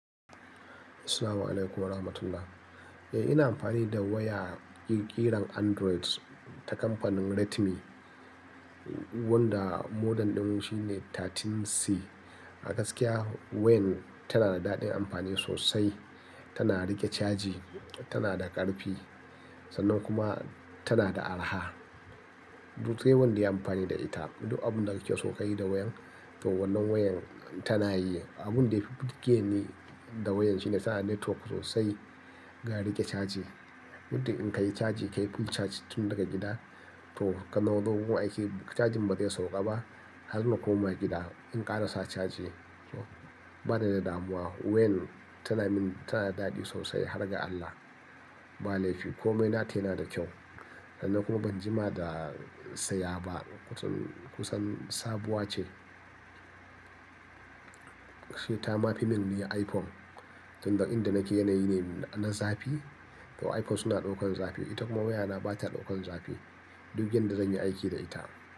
Assalamu alaikum warahmatullah. Eh, ina amfani da waya ƙirƙiran Android ta kamfanin Redmi wanda model din shi ne 13C. A gaskiya wayan tana da daɗin amfani sosai, tana riƙe caji, tana da ƙarfi sannan kuma tana da araha. Dutse wanda ya yi amfani da ita. Duk abin da kake so ka yi da wayan to wannan wayan tana yi. Abun da yafi burgeni da wayan shi ne tana network sosai, ga riƙe caji. Mutum in ka yi caji, ka yi full charge tun daga gida to ka nazo gun aiki cajin bata yi sauƙa ba har na koma gida in ƙara sa caji to bata da damuwa. Wayan tana min, tana daɗi sosai har ga Allah ba laifi. Komai nata yana da kyau sannan kuma ban jima da saya ba, kusan, kusan sabuwa ce. Shi ta ma fi mun nuna iPhone tun ga inda nake yanayi ne na zafi to iPhone suna ɗaukar zafi ita kuma wayana bata ɗaukar zafi duk yadda zan yi aiki da ita.